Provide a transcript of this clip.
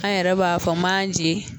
An yɛrɛ b'a fɔ manze